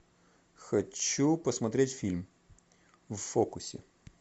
хочу посмотреть фильм в фокусе